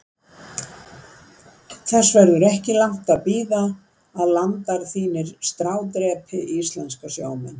Þess verður ekki langt að bíða að landar þínir strádrepi íslenska sjómenn.